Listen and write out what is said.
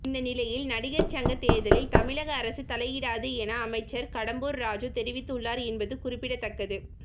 இந்த நிலையில் நடிகர் சங்க தேர்தலில் தமிழக அரசு தலையிடாது என அமைச்சர் கடம்பூர் ராஜூ தெரிவித்துள்ளார் என்பது குறிப்பிடத்தக்கது